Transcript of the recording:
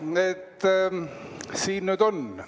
Siin see nüüd on.